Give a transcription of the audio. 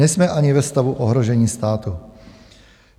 Nejsme ani ve stavu ohrožení státu.